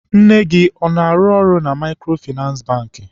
Nne gị ọ na- arụ na Maịkrofịnasị Bankị?